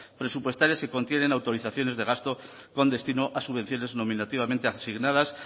presupuestarias que contienen autorizaciones de gastos con destino a subvenciones nominativamente asignadas